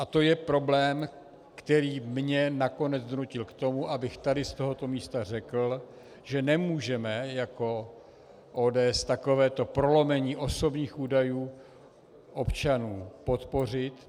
A to je problém, který mě nakonec donutil k tomu, abych tady z tohoto místa řekl, že nemůžeme jako ODS takovéto prolomení osobních údajů občanů podpořit.